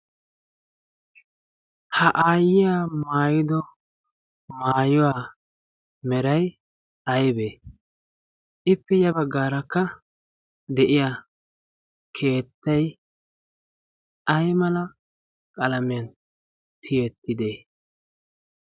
Ha aayyiya maayido maayuwaa meray aybee? Ippe ya baggaarakka de'iya keettay ay mala qalamiyan tiyettidee?